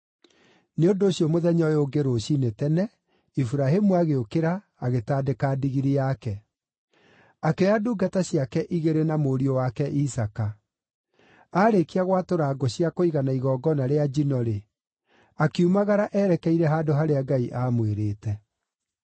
Nĩ ũndũ ũcio mũthenya ũyũ ũngĩ rũciinĩ tene, Iburahĩmu agĩũkĩra, agĩtandĩka ndigiri yake. Akĩoya ndungata ciake igĩrĩ na mũriũ wake Isaaka. Aarĩkia gwatũra ngũ cia kũigana igongona rĩa njino-rĩ, akiumagara erekeire handũ harĩa Ngai aamwĩrĩte.